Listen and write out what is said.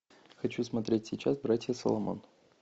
хочу смотреть сейчас братья соломон